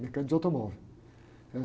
Mecânico de automóvel.